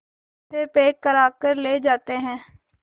से पैक कराकर ले जाते हैं